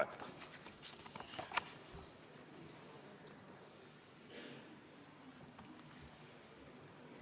Aitäh!